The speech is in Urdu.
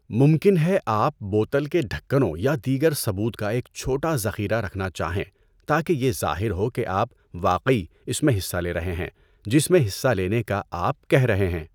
ممکن ہے آپ بوتل کے ڈھکنوں یا دیگر ثبوت کا ایک چھوٹا ذخیرہ رکھنا چاہیں تاکہ یہ ظاہر ہو کہ آپ واقعی اس میں حصہ لے رہے ہیں جس میں حصہ لینے کا آپ کہہ رہے ہیں۔